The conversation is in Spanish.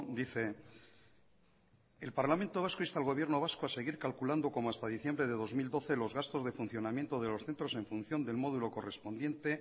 dice el parlamento vasco insta al gobierno vasco a seguir calculando como hasta diciembre de dos mil doce los gastos de funcionamiento de los centros en función del módulo correspondiente